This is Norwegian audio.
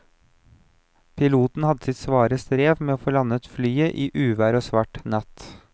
Piloten hadde sitt svare strev med å få landet flyet i uvær og svart natt.